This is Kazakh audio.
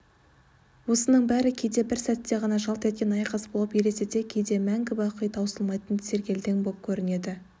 осының бәрі кейде бір сәтте ғана жалт еткен айқас болып елестесе кейде мәңгі бақи таусылмайтын сергелдең боп көрінеді